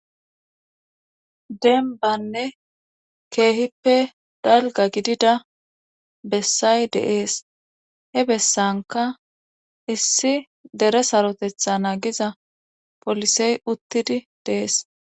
Denbanne keehippe dalga gidida bessay deees he bessanka issi dere sarotetha na giza polisey uttidi deees